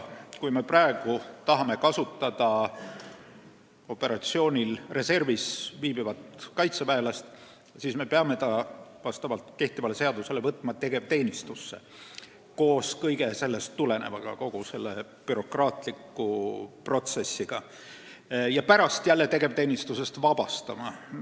Kui me praegu tahame kasutada operatsioonil reservis viibivat kaitseväelast, siis kehtiva seaduse järgi me peame võtma ta tegevteenistusse – koos kõige sellest tulenevaga, kogu bürokraatliku protsessiga – ja pärast jälle tegevteenistusest vabastama.